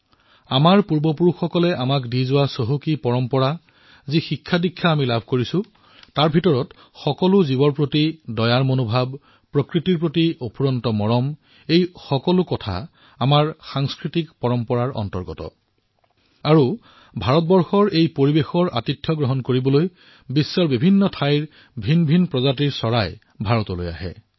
আমাৰ পূৰ্বপুৰুষসকলে আমাক যি ঐতিহ্য প্ৰদান কৰিছে যি শিক্ষা আৰু দীক্ষা আমাক প্ৰদান কৰিছে যত জীৱমাত্ৰেই দয়া প্ৰকৃতিৰ প্ৰতি অপাৰ প্ৰেম এই সকলোবোৰ আমাৰ সাংস্কৃতিক ঐতিহ্য আৰু ভাৰতৰ এই বাতাৱৰণৰ আতিথ্য গ্ৰহণ কৰিবলৈ বিশ্বৰ বিভিন্ন প্ৰান্তৰ পৰা ভিন্ন ভিন্ন প্ৰজাতিৰ পক্ষী প্ৰতিবছৰে ভাৰতলৈ আহে